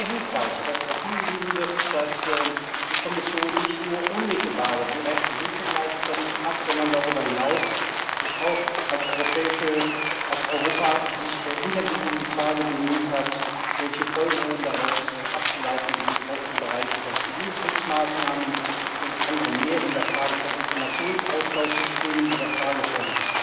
Ich finde es auch sehr hilfreich, dass darauf hingewiesen wird, dass die Kommission nicht nur unmittelbare, direkte Hilfe geleistet hat, sondern sich darüber hinaus auch als Europa intensiv um die Frage bemüht hat, welche Folgerungen daraus abzuleiten sind, auch im Bereich von Zivilschutzmaßnahmen und anderem mehr, in der Frage von Informationsaustauschsystemen, in der Frage von